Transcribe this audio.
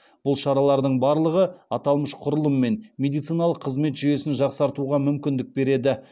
бұл шаралардың барлығы аталмыш құрылым мен медициналық қызмет жүйесін жақсартуға мүмкіндік береді